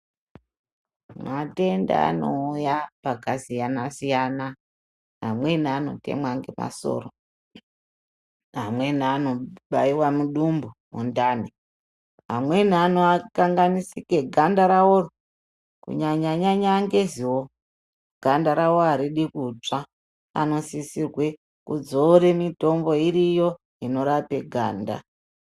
Matenda anouya pakasiyana siyana. Vamweni vanotemwa ngemasoro, vamweni vanobayiwa mudumbu, mundani. Vamweni vanokanganisike ganda ravo kunyanya nyanya ngezuva, ganda ravo haridi kutsva, vanosisirwe kuzore mitombo, iriyo inorape ganda.